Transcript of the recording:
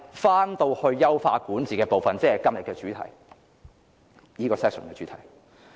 回到優化管治部分，即現時這個辯論環節的主題。